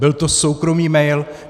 Byl to soukromý mail.